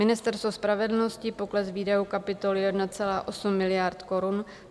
Ministerstvo spravedlnosti - pokles výdajů kapitoly 1,8 miliardy korun.